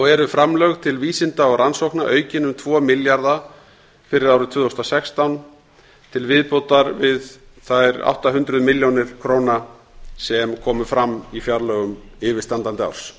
eru framlög til vísinda og rannsókna aukin um tvo milljarða fyrir árið tvö þúsund og sextán til viðbótar við þær átta hundruð milljónir króna sem komu fram í fjárlögum yfirstandandi árs